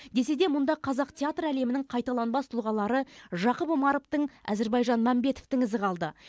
десе де мұнда қазақ театр әлемінің қайталанбас тұлғалары жақып омаровтың әзірбайжан мәмбетовтің ізі қалды